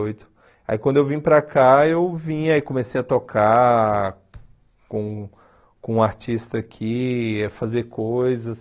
oito. Aí quando eu vim para cá, eu vim e comecei a tocar com com um artista aqui, a fazer coisas.